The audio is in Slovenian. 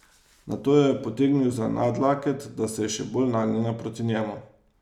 Nato jo je potegnil za nadlaket, da se je še bolj nagnila proti njemu.